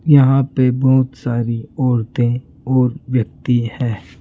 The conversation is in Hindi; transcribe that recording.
यहां पे बहुत सारी औरतें और व्यक्ति है।